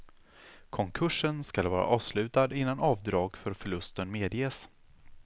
Konkursen skall vara avslutad innan avdrag för förlusten medges.